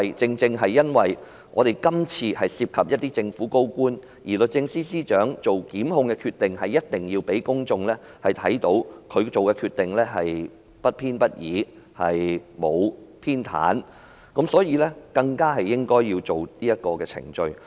正是因為今次涉及政府高官，律政司司長才需要要讓公眾看到她所作的檢控決定不偏不倚，沒有偏袒，所以她更應該跟隨這程序。